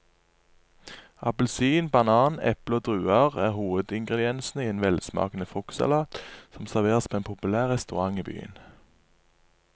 Appelsin, banan, eple og druer er hovedingredienser i en velsmakende fruktsalat som serveres på en populær restaurant i byen.